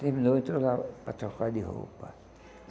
Terminou e entrou lá para trocar de roupa.